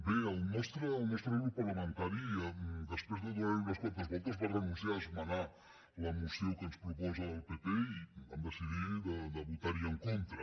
bé el nostre grup parlamentari després de donar hi unes quantes voltes va renunciar a esmenar la moció que ens proposa el pp i vam decidir de votar hi en contra